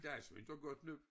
Det er altså ved at dukke op nu